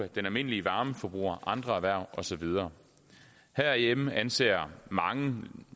den almindelige varmeforbruger andre erhverv og så videre herhjemme anser mange